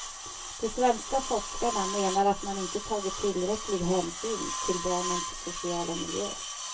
De svenska forskarna menar att man inte tagit tillräcklig hänsyn till barnens sociala miljö.